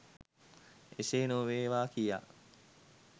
එසේ නොවේවා කියා